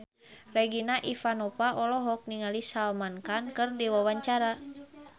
Regina Ivanova olohok ningali Salman Khan keur diwawancara